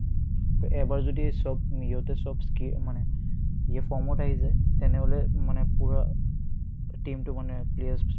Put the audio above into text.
অ, এবাৰ যদি চব উম্ ইহতে চব স্কি মানে form ত আহি যায় তেনেহ'লে মানে পূৰা team টো মানে players